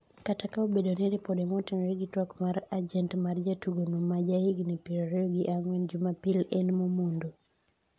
kata ka obedo ni ripode motenore gi twak kod ajent mar jatugono ma ja higni piero ariyo gi ang'wen Jumapil en momondo